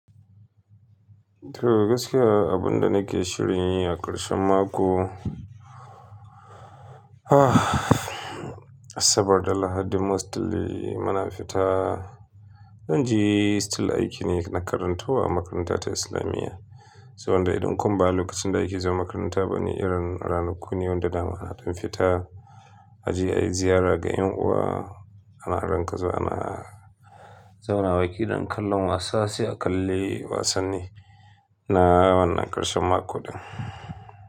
To gaskiya abin da nake shirin yi a ƙarshen mako, saboda Lahadi mostly muna fita. Zan je still aiki ne na karantarwa a makarantata Islamiyya. Saboda idan kuma ba lokacin da aiki zuwa makaranta ba ne irin ranakun yau da dama ana ɗan fita. Aje ayi ziyara ga ƴan uwa Ana rinƙa zuwa ana zauna bakin don kallon wasa sai a kalli wasanni na wannan ƙarshen mako ɗin.